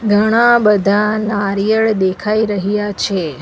ઘણા બધા નારિયળ દેખાઈ રહ્યા છે.